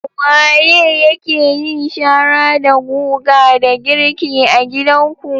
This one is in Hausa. Waye yake yin shara da guga da girki a gidanku?